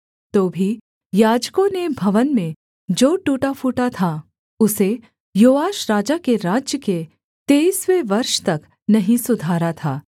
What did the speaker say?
तो भी याजकों ने भवन में जो टूटा फूटा था उसे योआश राजा के राज्य के तेईसवें वर्ष तक नहीं सुधारा था